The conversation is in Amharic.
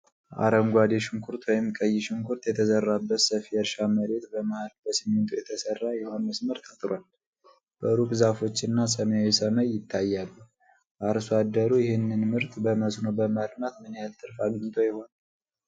አረንጓዴ ሽንኩርት ወይም ቀይ ሽንኩርት የተዘራበት ሰፊ የእርሻ መሬት በመሃል በሲሚንቶ የተሠራ የውሃ መስመር ታጥሯል። በሩቅ ዛፎችና ሰማያዊ ሰማይ ይታያሉ። አርሶ አደሩ ይህንን ምርት በመስኖ በማልማት ምን ያህል ትርፍ አግኝቶ ይሆን?